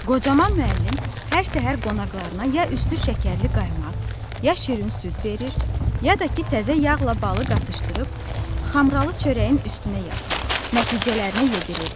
Qocaman müəllim hər səhər qonaqlarına ya üstü şəkərli qaymaq, ya şirin süd verir, ya da ki, təzə yağla balı qatışdırıb xamralı çörəyin üstünə yaxır, nəticələrinə yedirirdi.